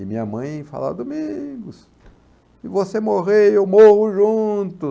E minha mãe falava, Domingos, se você morrer, eu morro junto.